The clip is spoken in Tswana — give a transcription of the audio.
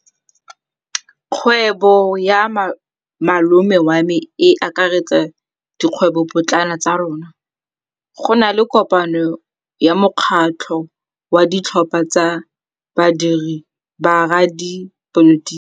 Kgwêbô ya malome wa me e akaretsa dikgwêbôpotlana tsa rona. Go na le kopanô ya mokgatlhô wa ditlhopha tsa boradipolotiki.